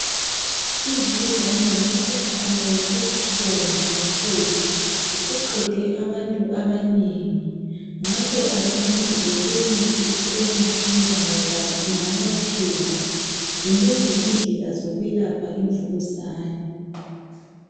imvukuzane ngumkhuhlane obuhlungu kakhulu usuqede abantu abanengi ngakho asinanzeleleni kusasemasinya ngoba ingalapheka zinengi indlela zokwelapha imvukuzane